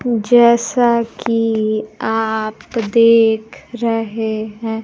जैसा कि आप देख रहे हैं।